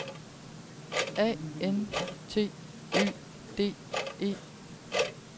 A N T Y D E